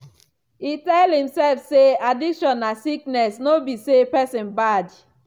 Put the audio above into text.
e tell himself say addiction na sickness no be say person bad